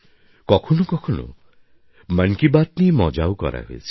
কখনো কখনো মন কি বাত নিয়ে মজাও করা হয়েছে